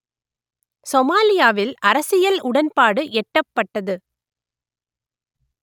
சொமாலியாவில் அரசியல் உடன்பாடு எட்டப்பட்டது